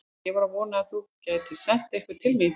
Ég var að vona að þú gætir sent einhvern til mín.